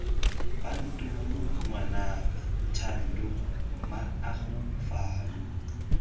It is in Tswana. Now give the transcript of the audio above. bantomo ngwanaka thando mmaago fano